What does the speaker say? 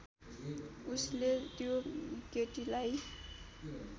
उसले त्यो केटीलाई